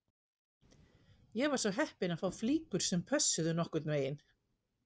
Ég var svo heppinn að fá flíkur sem pössuðu nokkurn veginn